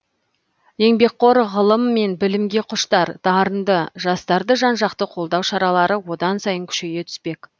еңбекқор ғылым мен білімге құштар дарынды жастарды жан жақты қолдау шаралары одан сайын күшейе түспек